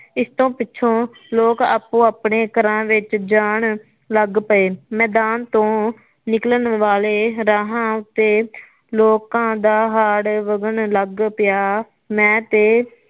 ਇਸ ਤੋ ਪਿਛੋਂ ਲੋਕ ਆਪੋ ਆਪਣੇ ਘਰਾਂ ਵਿਚ ਜਾਣ ਲਗ ਪਏ ਮੈਦਾਨ ਤੋ ਨਿਕਲਣ ਵਾਲੇ ਰਾਹਾ ਉੱਤੇ ਲੋਕਾਂ ਦਾ ਹੜ ਵੱਗਣ ਲੱਗ ਪਿਆ ਮੈ ਤੇ